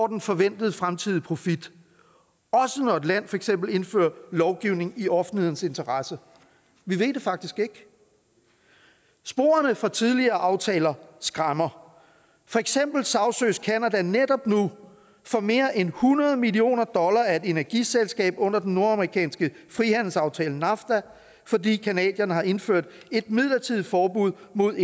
den forventede fremtidige profit også når et land for eksempel indfører lovgivning i offentlighedens interesse vi ved det faktisk ikke sporene fra tidligere aftaler skræmmer for eksempel sagsøges canada netop nu for mere end hundrede millioner dollars af et energiselskab under den nordamerikanske frihandelsaftale nafta fordi canadierne har indført et midlertidigt forbud mod